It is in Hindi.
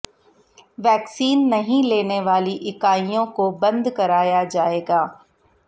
वैक्सीन नहीं लेने वाली इकाइयों को बंद कराया जाएगा